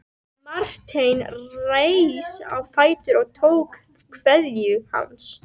Marteinn reis á fætur og tók kveðju hans.